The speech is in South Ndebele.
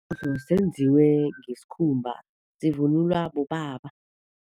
Senziwe ngesikhumba, sivunulwa bobaba.